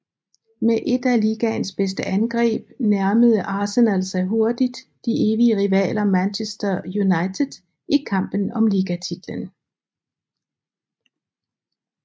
Med et af ligaens bedste angreb nærmede Arsenal sig hurtigt de evige rivaler Manchester United i kampen om ligatitlen